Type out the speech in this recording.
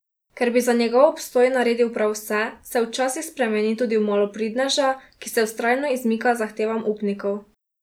Ker bi za njegov obstoj naredil prav vse, se včasih spremeni tudi v malopridneža, ki se vztrajno izmika zahtevam upnikov.